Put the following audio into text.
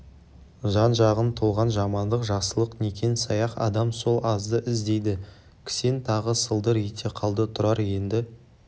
жан-жағың толған жамандық жақсылық некен-саяқ адам сол азды іздейді кісен тағы сылдыр ете қалды тұрар енді